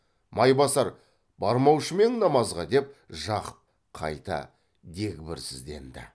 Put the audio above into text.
майбасар бармаушы ма ең намазға деп жақып қайта дегбірсізденді